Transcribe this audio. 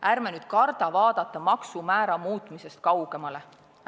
Ärme nüüd kardame vaadata maksumäära muutmisest kaugemale!